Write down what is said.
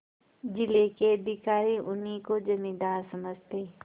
जिले के अधिकारी उन्हीं को जमींदार समझते